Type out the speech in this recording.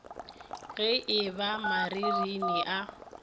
ge e ba marinini a